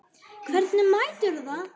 Hvernig meturðu það?